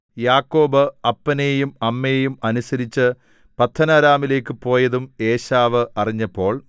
യാക്കോബ് അപ്പനെയും അമ്മയെയും അനുസരിച്ച് പദ്ദൻഅരാമിലേക്കു പോയതും ഏശാവ് അറിഞ്ഞപ്പോൾ